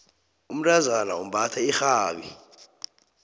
umntazana umbatha irhabi